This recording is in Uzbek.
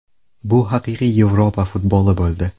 Bu haqiqiy Yevropa futboli bo‘ldi.